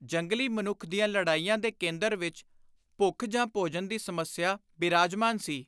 ਜੰਗਲੀ ਮਨੁੱਖ ਦੀਆਂ ਲੜਾਈਆਂ ਦੇ ਕੇਂਦਰ ਵਿਚ ਭੁੱਖ ਜਾਂ ਭੋਜਨ ਦੀ ਸਮੱਸਿਆ ਬਿਰਾਜਮਾਨ ਸੀ।